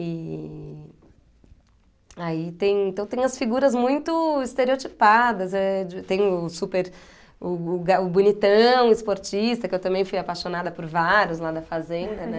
E aí tem então tem as figuras muito estereotipadas, eh de tem o super o o ga o bonitão, esportista, que eu também fui apaixonada por vários lá na fazenda, né?